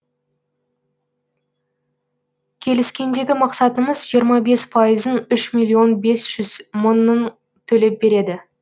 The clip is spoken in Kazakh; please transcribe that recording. келіскендегі мақсатымыз жиырма бес пайызын үш миллион бес жүз мыңын төлеп береді